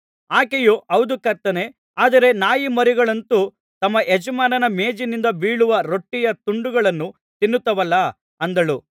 ಆಕೆಯು ಹೌದು ಕರ್ತನೇ ಆದರೆ ನಾಯಿಮರಿಗಳಂತೂ ತಮ್ಮ ಯಜಮಾನನ ಮೇಜಿನಿಂದ ಬೀಳುವ ರೊಟ್ಟಿಯ ತುಂಡುಗಳನ್ನು ತಿನ್ನುತ್ತವಲ್ಲಾ ಅಂದಳು